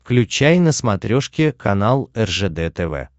включай на смотрешке канал ржд тв